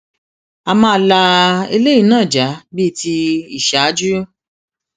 a máa la eléyìí náà já bíi ti ìṣáájú